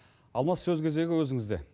алмас сөз кезегі өзіңізде